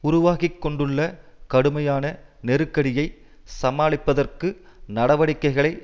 உருவாகிக்கொண்டுள்ள கடுமையான நெருக்கடியைச் சமாளிப்பதற்கு நடவடிக்கைகளை